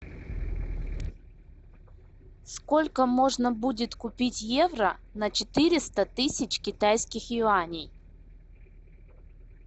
сколько можно будет купить евро на четыреста тысяч китайских юаней